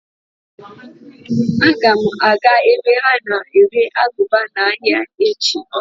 Aga m aga ebe ha na-ere aguba n'ahịa echi.